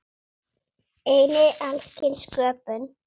Einnig alls kyns sköpun.